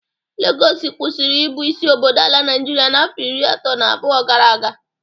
Legọs kwụsịrị ị bụ isi obodo ala Naịjịrịa afọ iri atọ na abụọ gara aga.